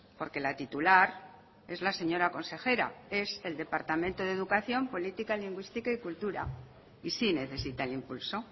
porque la titular es la señora consejera es el departamento de educación política lingüística y cultura y sí necesita el impulso